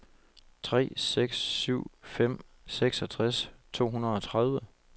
tre seks syv fem seksogtres to hundrede og tredive